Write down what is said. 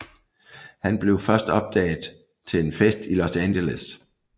Han blev først opdaget til en fest i Los Angeles